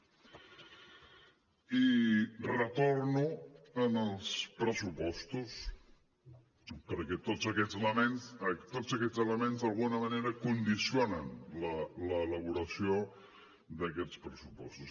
i retorno als pressupostos perquè tots aquests elements d’alguna manera condicionen l’elaboració d’aquests pressupostos